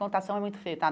Contação é muito feio, tá?